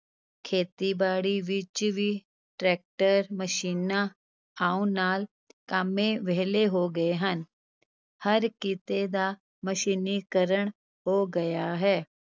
ਖੇਤੀਬਾੜੀ ਵਿਚ ਵੀ ਟ੍ਰੈਕਟਰ, ਮਸ਼ੀਨਾਂ ਆਉਣ ਨਾਲ ਕਾਮੇ ਵਿਹਲੇ ਹੋ ਗਏ ਹਨ, ਹਰ ਕਿੱਤੇ ਦਾ ਮਸ਼ੀਨੀਕਰਨ ਹੋ ਗਿਆ ਹੈ।